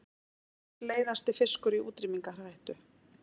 Heimsins leiðasti fiskur í útrýmingarhættu